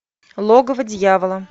логово дьявола